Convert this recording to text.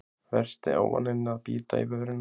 Versti ávaninn að bíta í vörina